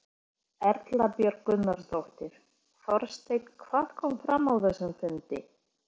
Erla Björg Gunnarsdóttir: Þorsteinn hvað kom fram á þessum fundi?